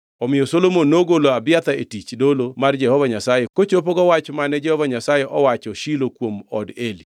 Omiyo Solomon nogolo Abiathar e tich dolo mar Jehova Nyasaye kochopogo wach mane Jehova Nyasaye owacho Shilo kuom od Eli.